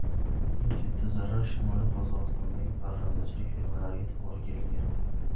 Eng katta zarar Shimoliy Qozog‘istondagi parrandachilik fermalariga to‘g‘ri kelgan.